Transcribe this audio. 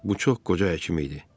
Bu çox qoca həkim idi.